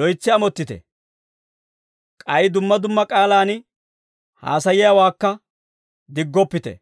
loytsi amottite. K'ay dumma dumma k'aalaan haasayiyaawaakka diggoppite.